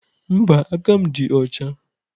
Mba, aka m dị ọcha.